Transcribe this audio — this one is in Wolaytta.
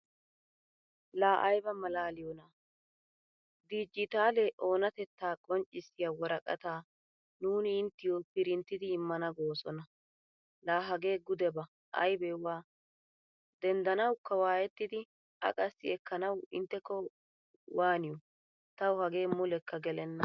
La ayba malaliyona? Digitale oonatetta qonccisiya worqqataa nuuni inttiyo printtidi immana goosona. La hagee gudeba aybewa denddanawukka waayettidi a qassi ekkanamwu intteko waaniyo. Tawu hagee mulekka gelena.